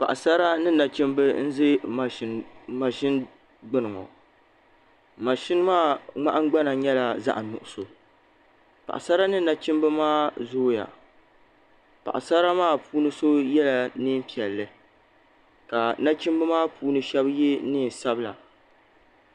Paɣasara ni nachimba n za maʒini gbini ŋɔ maʒini maa nahingbana nyɛla zaɣa nuɣuso Paɣasara ni nachimba maa zooya Paɣasara maa puuni so yela niɛn'piɛli ka nachimba maa puuni sheba ye niɛn'sabila.